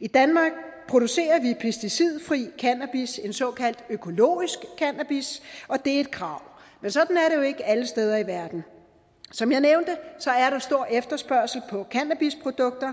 i danmark producerer vi pesticidfri cannabis en såkaldt økologisk cannabis og det er et krav men sådan er det jo ikke alle steder i verden som jeg nævnte er der stor efterspørgsel på cannabisprodukter